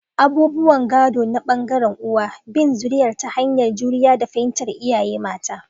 Abubuwan gado na bangarin uwal: bin zuriyarsu ta hanyar juriya da fahimtar iyaye mata.